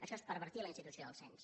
això és pervertir la institució del cens